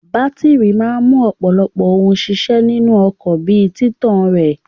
Bátírí máa mú ọ̀pọ̀lọpọ̀ ohun ṣiṣẹ́ nínú ọkọ̀ bí i títàn rẹ̀.